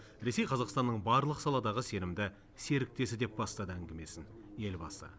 ресей қазақстанның барлық саладағы сенімді серіктесі деп бастады әңгімесін елбасы